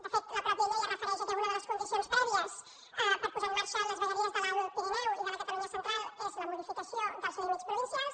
de fet la mateixa llei es refereix al fet que una de les condicions prèvies per posar en marxa les vegueries de l’alt pirineu i de la catalunya central és la modificació dels límits provincials